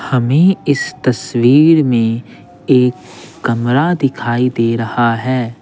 हमें इस तस्वीर में एक कमरा दिखाई दे रहा है।